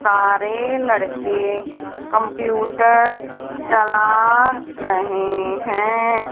सारे लड़के कंप्यूटर चला रहें हैं।